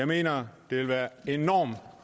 mener jeg det vil være enormt